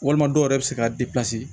Walima dɔw yɛrɛ bɛ se ka